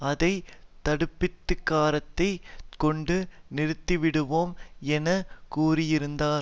அதை தடுப்பதிகாரத்தைக் கொண்டு நிறுத்திவிடுவோம் என கூறியிருந்தார்